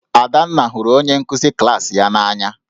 Adanna hụrụ onye nkụzi klaasị ya n'anya